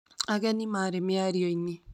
Ageni marĩ mĩario-inĩ